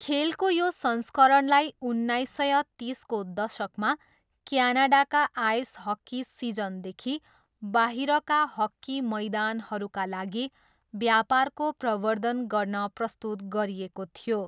खेलको यो संस्करणलाई उन्नाइस सय तिसको दशकमा क्यानाडाका आइस हक्की सिजनदेखि बाहिरका हकी मैदानहरूका लागि व्यापारको प्रवर्द्धन गर्न प्रस्तुत गरिएको थियो।